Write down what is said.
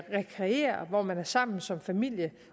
rekreerer hvor man er sammen som familie